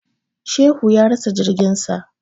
Shehu ya rasa jirgin sa.